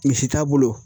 Misi t'a bolo